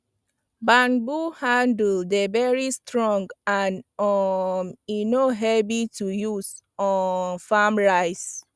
banbo handles dey very strong and um e no heavy to use um farm rice